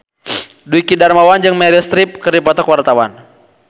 Dwiki Darmawan jeung Meryl Streep keur dipoto ku wartawan